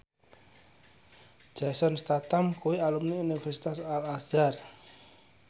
Jason Statham kuwi alumni Universitas Al Azhar